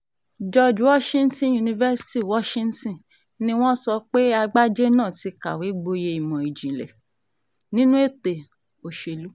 george washington university washington dc ni wọ́n sọ pé àgbájé náà ti kàwé gboyè ìmọ̀ ìjìnlẹ̀ nínú ètò òṣèlú